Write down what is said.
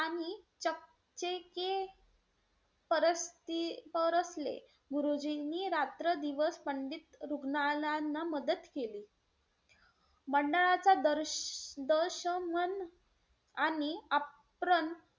परस्ती परसले गुरुजींनी रात्रदिवस पंडित रुग्णांलयाना मदत केली. मंडळाच्या दर्श दशमान आणि आप्रन,